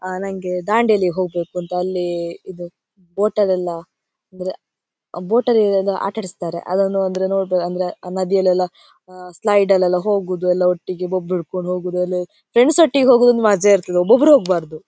ಆಹ್ಹ್ ನನ್ಗೆ ದಾಂಡೇಲಿ ಹೋಗ್ಬೇಕು ಅಂತ ಅಲ್ಲಿ ಇದು ಬೋಟಲೆಲ್ಲ ಅಂದ್ರೆ ಬೋಟ್ ಇದರಲ್ಲಿ ಆಟ ಆಡಿಸ್ತಾರೆ ಅದೊಂದು ಅಂದ್ರೆ ನೋಡಬಹುದು ಅಂದ್ರೆ ನದಿಯಲೆಲ್ಲ ಸ್ಲೈಡ್ ಲೆಲ್ಲ ಹೋಗುದು ಎಲ್ಲ ಒಟ್ಟಿಗೆ ಬೊಬ್ಬೆ ಇಟ್ಕೊಂಡು ಹೋಗುವುದು ಎಲ್ಲ ಫ್ರೆಂಡ್ಸ್ ಒಟ್ಟಿಗೆ ಹೋಗುವುದು ಒಂದು ಮಜಾ ಇರ್ತಾದ್ದೆ ಒಬ್ಬ ಒಬ್ಬರು ಹೋಗ್ಬಾರ್ದು.